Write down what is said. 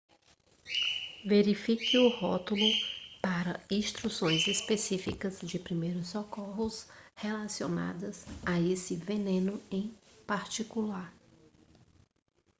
verifique o rótulo para instruções específicas de primeiros socorros relacionadas a esse veneno em particular